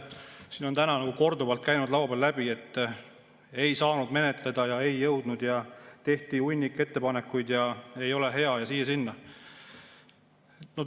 Siin on täna korduvalt käinud läbi, et ei saanud menetleda ja ei jõudnud ja tehti hunnik ettepanekuid ja ei ole hea ja siia-sinna.